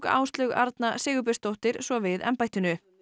Áslaug Arna Sigurbjörnsdóttir svo við embættinu